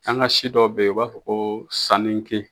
An ka si dɔw be yen, u b'a fɔ ko sanni ke